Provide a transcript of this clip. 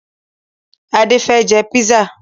Adé fẹ́ jẹ písà